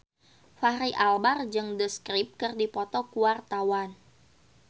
Fachri Albar jeung The Script keur dipoto ku wartawan